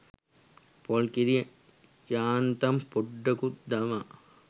පොල් කිරි යාන්තම් පොඩ්ඩකුත් දමා